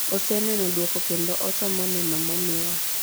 "Oseneno duoko kendo osomo neno momiwa."